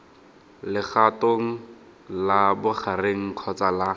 legatong la bogareng kgotsa la